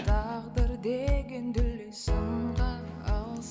тағдыр деген дүлей сынға